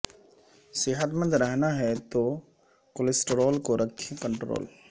صحت مند رہنا ہے تو کولیسٹرال کو رکھیں کنٹرول